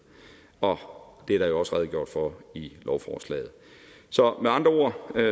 og det er der jo også redegjort for i lovforslaget så med andre ord er